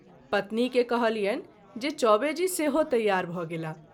पत्नी के कहलियनि जे चौबे जी सेहो तैयार भ’ गेलाह।